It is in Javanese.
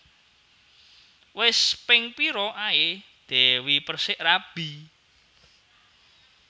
Wes ping pira ae Dewi Perssik rabi?